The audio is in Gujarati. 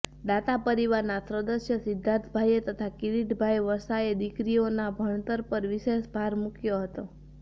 દાતા પરિવાર ના સદસ્ય સિઘ્ધાર્થભાઇએ તથા કીરીટભાઇ વસાએ દીકરીઓના ભણતર પર વિશેષ ભાર મુકયો હતો